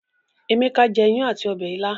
Emeka jé iyán àti Ọbẹ̀ ìla.